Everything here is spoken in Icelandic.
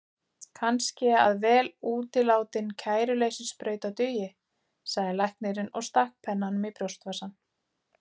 Kannski að vel útilátin kæruleysissprauta dugi, sagði læknirinn og stakk pennanum í brjóstvasann.